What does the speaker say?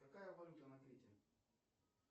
какая валюта на крите